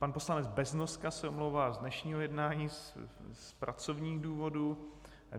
Pan poslanec Beznoska se omlouvá z dnešního jednání z pracovních důvodů.